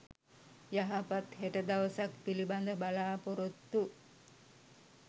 යහපත් හෙට දවසක් පිළිබඳ බලාපොරොත්තු